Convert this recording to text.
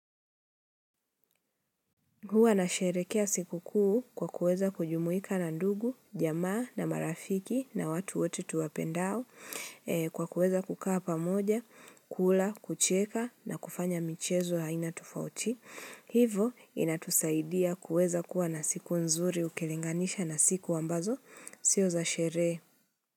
Huwa nasherehekea siku kuu kwa kuweza kujumuika na ndugu, jamaa na marafiki na watu wote tuwapendao kwa kuweza kukaa pamoja, kula, kucheka na kufanya michezo ya aina tufauti. Hivo inatusaidia kuweza kuwa na siku nzuri ukilinganisha na siku ambazo sio za sherehe.